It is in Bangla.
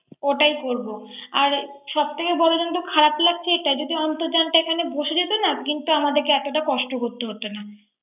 ওটাই করব। সব থেকেই বলো তো খারাপ লাগছে যদি অর্ন্তজানটা এখানে বসে যেত না কিন্ত আমাদেরকে এত কষ্ট করতে হতো না।